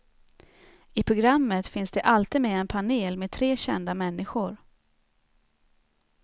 I programmet finns det alltid med en panel med tre kända människor.